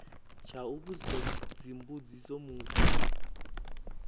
tsha u vhudzisa dzimbudziso muthu